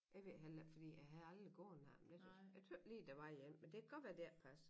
Jeg ved heller ikke fordi jeg havde gået langt med det jeg tøs lige der var en men det kan godt være det ikke passer